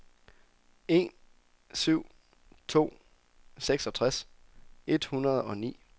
en syv syv to seksogtres et hundrede og ni